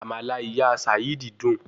Àmàlà ìyá Sàídì dùn